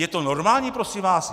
Je to normální, prosím vás?